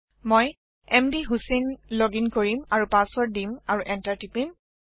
মই মধুচেইন লোগিং কৰিম আৰু পাচৱৰ্ড দিম আৰু এণ্টাৰ টিপিম